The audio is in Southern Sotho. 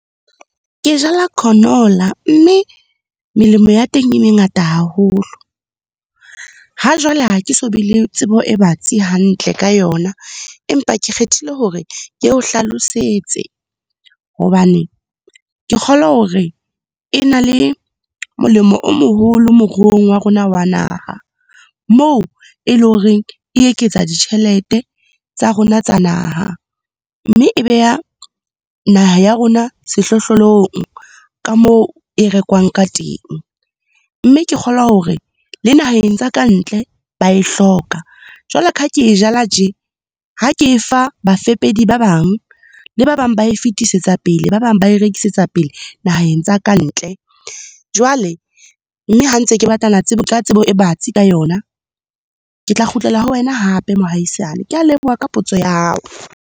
Ke jala canola mme melemo ya teng e mengata haholo. Hajwale, ha ke so be le tsebo e batsi hantle ka yona, empa ke kgethile hore ke o hlalosetse, hobane ke kgolwa hore e na le molemo o moholo moruong wa rona wa naha. Moo e leng hore e eketsa ditjhelete tsa rona tsa naha mme e beha naha ya rona sehlohlolong, ka moo e rekwang ka teng. Mme ke kgolwa hore, le naheng tsa kantle ba e hloka. Jwale ka ha ke e jala tje, ha ke e fa bafepedi ba bang, le ba bang ba e fetisetsa pele, ba bang ba e rekisetsa pele naheng tsa kantle. Jwale, mme ha ntse ke batlana ka tsebo e batsi ka yona. Ke tla kgutlela ho wena hape mohaisane. Ke a leboha ka potso ya hao.